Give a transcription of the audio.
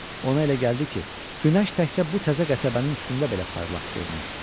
Ona elə gəldi ki, günəş təkcə bu təzə qəsəbənin üstündə belə parlaq görünür.